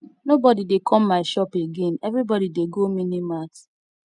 nobody dey come my shop again everybody dey go mini mart